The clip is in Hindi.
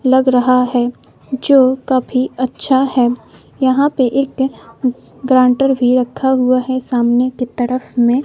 लग रहा है जो काफी अच्छा है यहां पे एक ग्रांटर भी रखा हुआ है सामने की तरफ में--